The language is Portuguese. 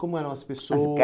Como eram as